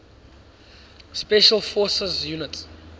special forces units